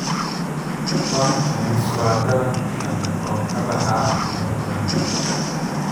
Pumpkins waa dalag kale oo ka baxa meelo badan.